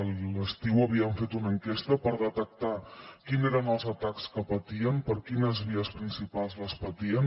a l’estiu havíem fet una enquesta per detectar quins eren els atacs que patien per quines vies principals els patien